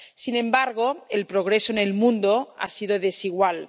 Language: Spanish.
Sin embargo, el progreso en el mundo ha sido desigual.